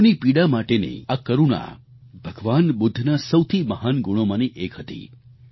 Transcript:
લોકોની પીડા માટેની આ કરૂણા ભગવાન બુદ્ધના સૌથી મહાન ગુણોમાંની એક હતી